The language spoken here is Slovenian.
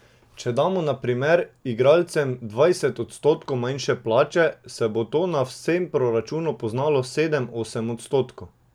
Če damo na primer igralcem dvajset odstotkov manjše plače, se bo to na vsem proračunu poznalo sedem, osem odstotkov.